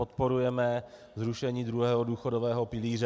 Podporujeme zrušení druhého důchodového pilíře.